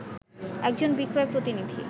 একজন বিক্রয় প্রতিনিধি